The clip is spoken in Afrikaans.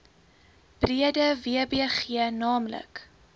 breede wbg naamlik